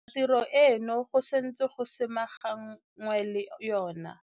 Bontsi jwa tiro eno go santse go samaganwe le yona.